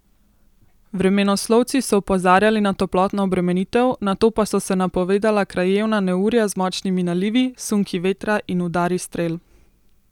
Vremenoslovci so opozarjali na toplotno obremenitev, nato pa so se napovedala krajevna neurja z močnimi nalivi, sunki vetra in udari strel.